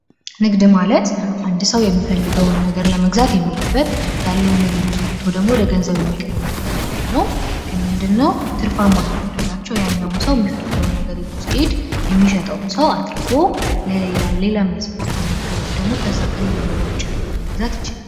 ንግድ ማለት አንድ ሰው የሚፈልገውን ነገር ለመግዛት የሚሄድበት ያለውን ነገር ይዞት ወቶ ደግሞ ወደ ገንዘብ የሚቀይርበት ቦታ ነው። ግን ምንድነው ትርፋማነት የሚያደርጋቸው ያኛውን ሰውዬ ፈልገው ነገር ይዞ ሲሄድ፤ የሚሸጠውን ሰው አትርፎ ሌላም የፈለገውን ነገር ወይም ደግሞ ከዛ ከሌለው ነገሮች ውጪ ያለውን ማለት ይቻላል።